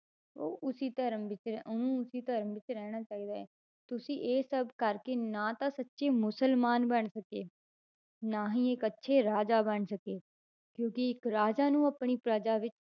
ਉਹ ਉਸੇ ਧਰਮ ਵਿੱਚ ਉਹਨੂੰ ਉਸੇ ਧਰਮ ਵਿੱਚ ਰਹਿਣਾ ਚਾਹੀਦਾ ਹੈ, ਤੁਸੀਂ ਇਹ ਸਭ ਕਰਕੇ ਨਾ ਤਾਂ ਸੱਚੇ ਮੁਸਲਮਾਨ ਬਣ ਸਕੇ, ਨਾ ਹੀ ਇੱਕ ਅੱਛੇ ਰਾਜਾ ਬਣ ਸਕੇ, ਕਿਉਂਕਿ ਇੱਕ ਰਾਜਾ ਨੂੰ ਆਪਣੀ ਪ੍ਰਜਾ ਵਿੱਚ